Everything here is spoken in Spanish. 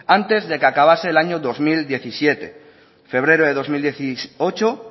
antes de que acabase el año dos mil diecisiete febrero de dos mil dieciocho